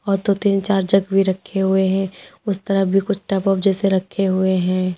और दो तीन चार जग भी रखे हुए हैं उस तरह भी कुछ टप ओप जैसे रखे हुए हैं।